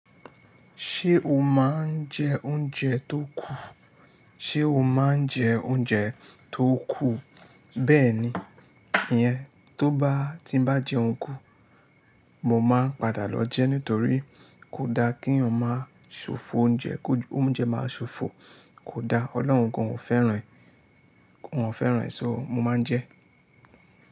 Ṣé o má ń jẹ oúnjẹ tó kù? Sé o má ń jẹ oúnjẹ tó kù? Bẹ́ẹ̀ni, ìyẹn tó bá ti n bá jẹun kù, mo máa padà lọ jẹ nítorí kò da kí eyan máa ṣòfò oúnjẹ, kó ju oúnjẹ máa ṣòfò kò da. Ọlọ́run gan ò fẹ́ràn e, kò fẹ́ràn, ṣọ́ mo máa ń jẹ.